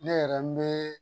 Ne yɛrɛ n bɛ